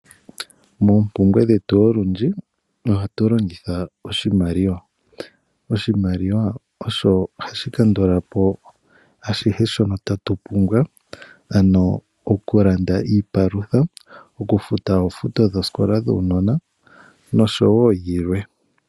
Moompumbwe dhetu olundji ohatu longitha oshimaliwa. Oshimaliwa osho hashi kandula po ashihe shono tatu pumbwa, ano okulanda iipalutha, okufuta oofuto dhoosikola dhuunona nosho wo yilwe.